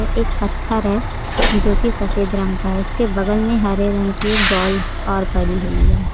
एक पत्थर है जोकि सफेद रंग का है उसके बगल में हरे रंग की एक बॉल और पड़ी हुई है।